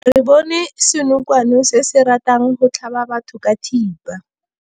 Re bone senokwane se se ratang go tlhaba batho ka thipa.